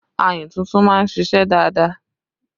Ayùn tuntun máa ń ṣíṣe dáadáa